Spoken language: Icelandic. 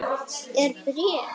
Er bréf?